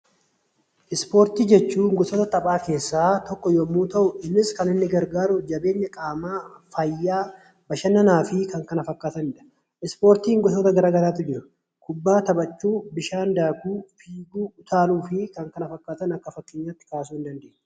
Ispoortii jechuun gosoota taphaa keessaa tokko yommuu ta'u, innis kan inni gargaaru jabeenya qaamaa, fayyaa, bashannanaa fi kan kana fakkaatanidha. Ispoortiin gosoota gara garaatu jiru. Kubbaa taphachuu, bishaan daakuu, fiiguu, utaaluu fi kan kana fakkaatan akka fakkeenyaatti kaasuu ni dandeenya.